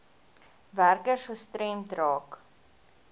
werkers gestremd raak